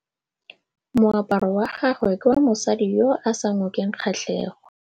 Moaparô wa gagwe ke wa mosadi yo o sa ngôkeng kgatlhegô.